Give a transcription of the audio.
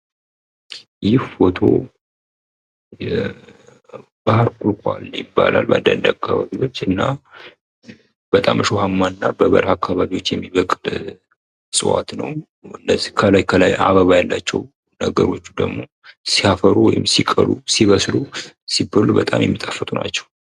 ይህ ፎቶ የባህር ቁልቋል ይባላል በአንዳንድ አካባቢዎች እና በጣም እሾሀማ እና በበረሀ አካባቢዎች የሚበቅል ዕፅዋት ነው። እነዚህ ከላይ ከላይ አበባ ያላቸው ነገሮች ደግሞ ሲያፈሩ ወይም ሲቀሉ ሲበስሉ ሲበሉ በጣም የሚጣፍጡ ናቸው።